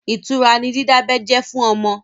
Ìtura ni dídábẹ́ jẹ́ fún ọmọ.